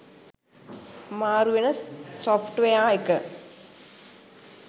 මාරුවෙන software එක